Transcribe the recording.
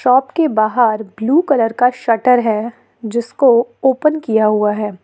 Shop के बाहर blue colour का शटर है जिसको ओपन किया हुआ है।